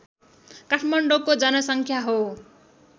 काठमाडौँको जनसङ्ख्या हो